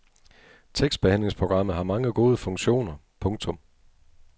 Tekstbehandlingsprogrammet har mange gode funktioner. punktum